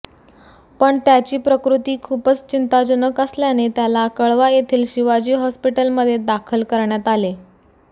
पण त्याची प्रकृती खूपच चिंताजनक असल्याने त्याला कळवा येथील शिवाजी हॉस्पिटलमध्ये दाखल करण्यात आले